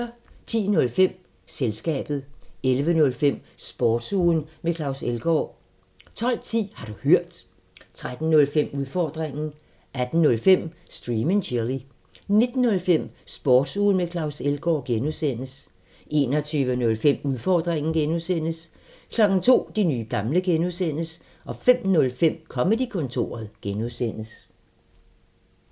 10:05: Selskabet 11:05: Sportsugen med Claus Elgaard 12:10: Har du hørt? 13:05: Udfordringen 18:05: Stream and chill 19:05: Sportsugen med Claus Elgaard (G) 21:05: Udfordringen (G) 02:00: De nye gamle (G) 05:05: Comedy-kontoret (G)